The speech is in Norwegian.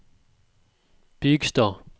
Bygstad